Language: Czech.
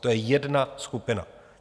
To je jedna skupina.